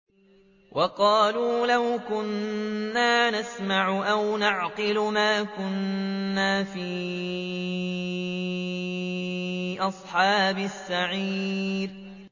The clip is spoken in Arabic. وَقَالُوا لَوْ كُنَّا نَسْمَعُ أَوْ نَعْقِلُ مَا كُنَّا فِي أَصْحَابِ السَّعِيرِ